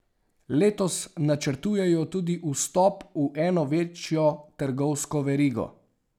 Letos načrtujejo tudi vstop v eno večjo trgovsko verigo.